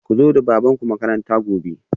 Ku zo da babanku makaranta gobe